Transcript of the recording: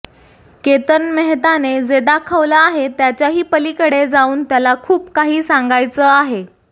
केतन मेहताने जे दाखवलं आहे त्याच्याही पलीकडे जाऊन त्याला खूप काही सांगायचं आहे